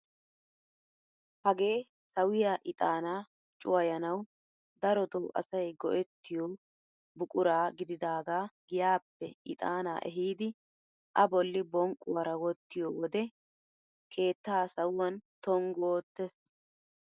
Hagee sawiyaa ixanaa cuwayanawu darotoo asay go"ettiyoo buqura gididagaa giyaappe ixanaa ehiidi a bolli bonqquwaara wottiyo wode keettaa sawuwaan tonggu oottees!